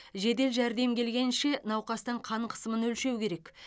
жедел жәрдем келгенше науқастың қан қысымын өлшеу керек